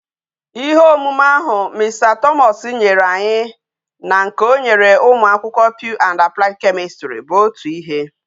Ihe omume ahu Mr Thomas nyere anyi bu na nke onyere umu akwukwo pure and applied chemistry bu otu ihe